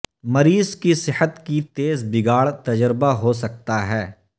مریض کی صحت کی تیز بگاڑ تجربہ ہو سکتا ہے